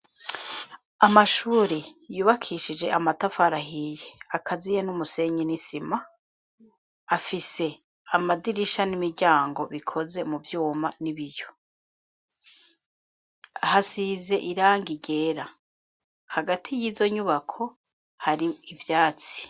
Amashure yubakishije amatafara ahiye akaziye n'umusenyi n'isima ,afise amadirisha n'imiryango bikoze mu vyuma n'ibiyo. Hasize irangi ryera hagati y'izo nyubako hari ivyatsi.